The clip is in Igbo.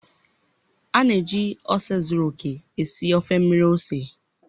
A na-eji ose zuru oke esi ofe mmiri ose